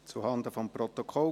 Zuhanden des Protokolls: